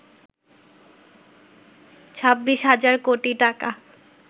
২৬ হাজার কোটি টাকা